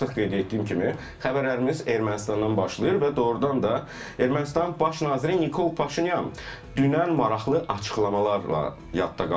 Və artıq qeyd etdiyim kimi xəbərlərimiz Ermənistandan başlayır və doğrudan da Ermənistanın baş naziri Nikol Paşinyan dünən maraqlı açıqlamalarla yadda qalıb.